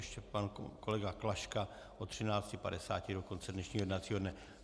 Ještě pan kolega Klaška od 13.50 do konce dnešního jednacího dne.